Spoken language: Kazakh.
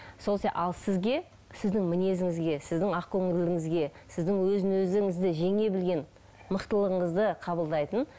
ал сізге сіздің мінезіңізге сіздің ақкөңілділігіңізге сіздің өзін өзіңізді жеңе білген мықтылығыңызды қабылдайтын